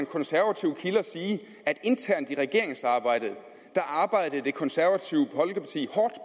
konservative kilder sige at internt i regeringsarbejdet arbejdede det konservative folkeparti